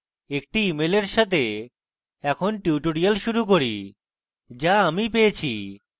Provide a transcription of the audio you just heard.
একটি ইমেলের সাথে এখন tutorial শুরু করি যা আমি পেয়েছি